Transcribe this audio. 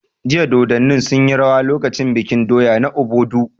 Jiya Dodanni sun yi rawa lokacin bikin doya na Obodu